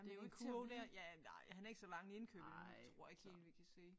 Den kurv der ja nej han har ikke så mange indkøb endnu tror jeg ikke helt vi kan se